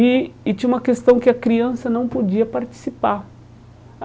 E e tinha uma questão que a criança não podia participar.